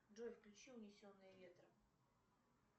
джой включи унесенные ветром